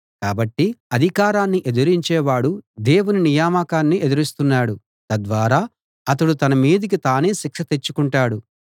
కాబట్టి అధికారాన్ని ఎదిరించేవాడు దేవుని నియామకాన్ని ఎదిరిస్తున్నాడు తద్వారా అతడు తన మీదికి తానే శిక్ష తెచ్చుకొంటాడు